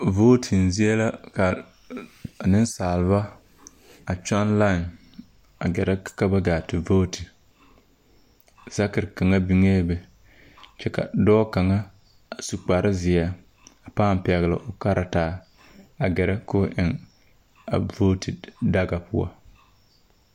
Voote zie la ka nesaalba a kyong lain a gɛɛre ka ba gaa te voote. Saker kanga biŋe be. Kyɛ ka doɔ kanga a su kpare zie a paaŋ pɛgle o karataa a gɛre ka o eŋ a voote daka poʊ